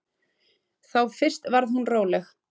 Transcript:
Þá fyrst varð hún róleg.